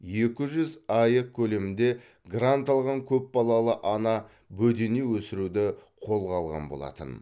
екі жүз аек көлемінде грант алған көп балалы ана бөдене өсіруді қолға алған болатын